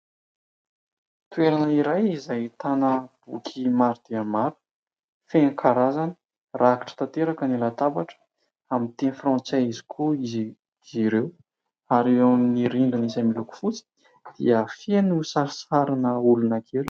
Toerana iray izay ahtana boky maro dia maro feno karazany rakitra tanteraka ny latabatra, amin'ny teny frantsay avokoa izy ireo ary eo amin'ny rindrina izay miloko fotsy dia feno sarisarina olona kely.